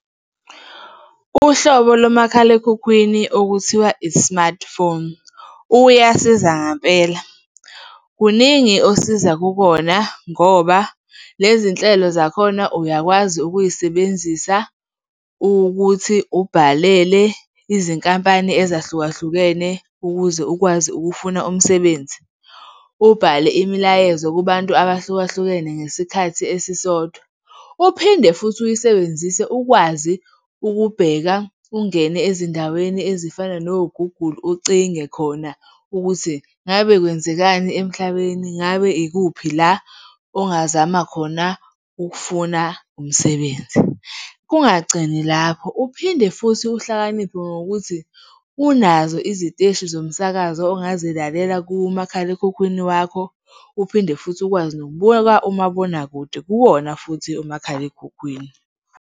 Uhlobo lomakhalekhukhwini okuthiwa i-smartphone, uyasiza ngampela. Kuningi osiza kukona ngoba lezi nhlelo zakhona uyakwazi ukuyisebenzisa ukuthi ubhalele izinkampani ezahlukahlukene ukuze ukwazi ukufuna umsebenzi, ubhale imilayezo kubantu abahlukahlukene ngesikhathi esisodwa, uphinde futhi uyisebenzise ukwazi ukubheka, ungene ezindaweni ezifana no-Google, ucinge khona ukuthi ngabe kwenzekani emhlabeni, ngabe ikuphi la ongazama khona ukufuna umsebenzi. Kungagcini lapho, uphinde futhi uhlakaniphe ngokuthi unazo iziteshi zomsakazo ongazilalela kumakhalekhukhwini wakho, uphinde futhi ukwazi nokubuka umabonakude kuwona futhi umakhalekhukhwini.